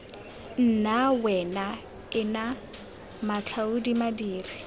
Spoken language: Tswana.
nna wena ena matlhaodi madiri